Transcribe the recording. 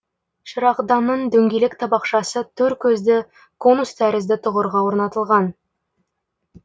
шырағданның дөңгелек табақшасы төр көзді конус тәрізді тұғырға орнатылған